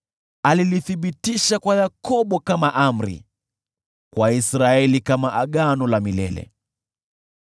Alilithibitisha kwa Yakobo kuwa amri, kwa Israeli liwe agano la milele: